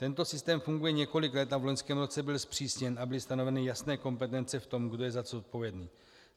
Tento systém funguje několik let a v loňském roce byl zpřísněn a byly stanoveny jasné kompetence v tom, kdo je za co zodpovědný.